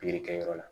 Pikiri kɛyɔrɔ la